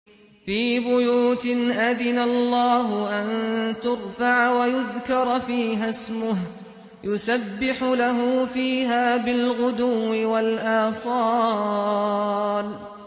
فِي بُيُوتٍ أَذِنَ اللَّهُ أَن تُرْفَعَ وَيُذْكَرَ فِيهَا اسْمُهُ يُسَبِّحُ لَهُ فِيهَا بِالْغُدُوِّ وَالْآصَالِ